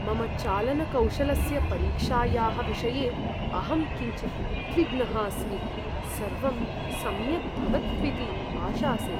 मम चालनकौशलस्य परीक्षायाः विषये अहं किञ्चित् उद्विग्नः अस्मि, सर्वं सम्यक् भवत्विति आशासे।